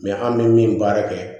an bɛ min baara kɛ